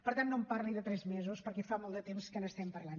per tant no em parli de tres mesos perquè fa molt de temps que n’estem parlant